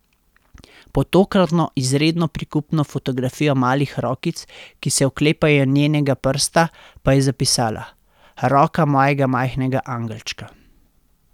Pod tokratno izredno prikupno fotografijo malih rokic, ki se oklepajo njenega prsta, pa je zapisala: 'Roka mojega majhnega angelčka.